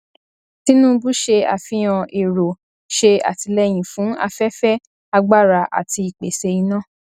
tinubu ṣe àfihàn èrò ṣe àtìlẹyìn fún afẹfẹ agbára àti ìpèsè iná